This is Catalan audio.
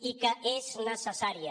i que és necessària